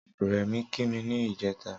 Remi ki mi nijètá